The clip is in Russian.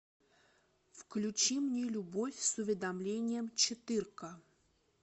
включи мне любовь с уведомлением четырка